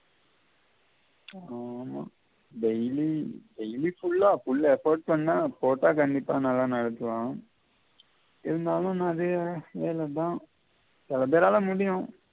ஆமா daily daily full ah full effect பன்னா போட்டா கண்டிப்பா நல்லா நெலச்சி வரும் இருந்தாலும் நெறைய வெள தான் சிலபேரால முடியும்